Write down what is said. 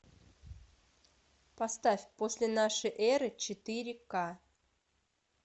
поставь после нашей эры четыре к